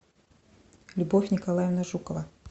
любовь николаевна жукова